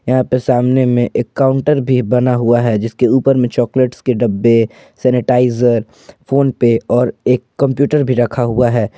यहां पर सामने में एक काउंटर भी बना हुआ है जिसके ऊपर में चॉकलेट के डब्बे सैनिटाइजर फोन पे और एक कंप्यूटर भी रखा हुआ है ।